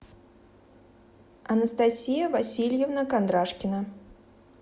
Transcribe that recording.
анастасия васильевна кондрашкина